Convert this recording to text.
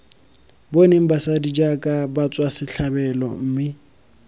boneng basadi jaaka batswasetlhabelo mme